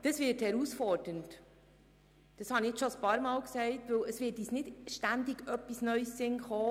Das wird eine Herausforderung, das habe ich bereits mehrmals gesagt, denn es wird uns nicht immer wieder etwas Neues einfallen.